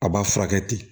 A b'a furakɛ ten